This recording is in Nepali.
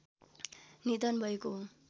निधन भएको हो